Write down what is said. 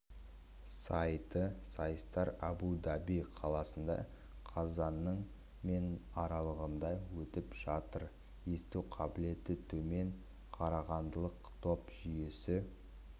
сайты сайыстар абу-даби қаласында қазанның мен аралығында өтіп жатыр есту қабілеті төмен қарағандылық топ жүйесі